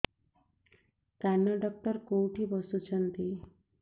କାନ ଡକ୍ଟର କୋଉଠି ବସୁଛନ୍ତି